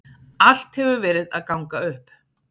Allt hefur verið að ganga upp.